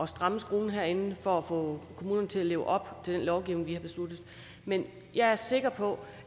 stramme skruen herinde for at få kommunerne til at leve op til den lovgivning vi har besluttet men jeg er sikker på